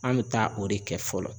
An be taa o de kɛ fɔlɔ.